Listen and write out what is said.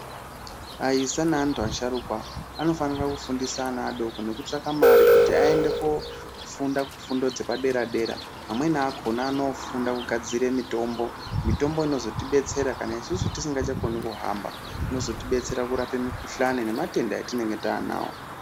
Aisa naantu asharukwa anofanira kufundisa ana adoko Nekutsvaka mare kuti aendekofunda kufundo dzepadera dera amweni akhona anofunda kugadzire mutombo mitombo inozotibetsera kana isusu tisingachakoni kuhamba inozotidetsera Kurape mukhuhlani nematenda atinenge taanawo.